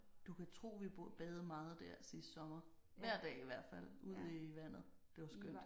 Du kan tro vi badede meget der sidste sommer. Hver dag i hvert fald ud i vandet. Det var skønt